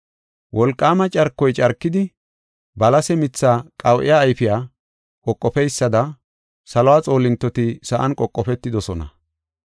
Wolqaama carkoy carkidi balase mitha qawu7e ayfiya qoqofeysada saluwa xoolintoti sa7an qoqofetidosona.